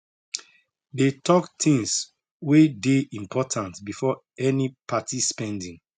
they talk things way dey important befor any party spending